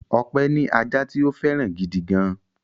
Ọpẹ́ ní ajá tí ó fẹ́ràn gidi gan-an.